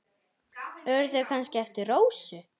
Eru þau kannski eftir Rósu?